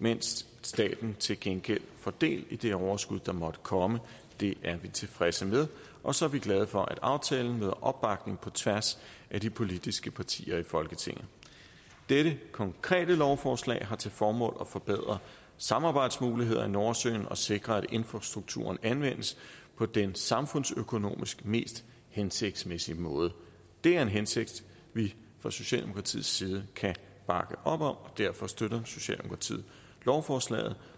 mens staten til gengæld får del i det overskud der måtte komme det er vi tilfredse med og så er vi glade for at aftalen nyder opbakning på tværs af de politiske partier i folketinget dette konkrete lovforslag har til formål at forbedre samarbejdsmulighederne i nordsøen og sikre at infrastrukturen anvendes på den samfundsøkonomisk mest hensigtsmæssige måde det er en hensigt vi fra socialdemokratiets side kan bakke op om og derfor støtter socialdemokratiet lovforslaget